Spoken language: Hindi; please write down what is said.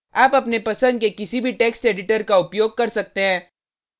आप अपने पसंद के किसी भी text editor का उपयोग कर सकते हैं